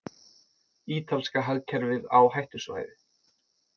Ítalska hagkerfið á hættusvæði